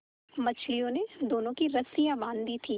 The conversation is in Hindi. मछलियों ने दोनों की रस्सियाँ बाँध दी थीं